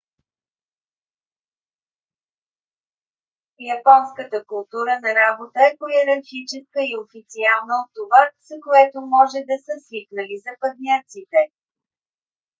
японската култура на работа е по-йерархическа и официална от това с което може да са свикнали западняците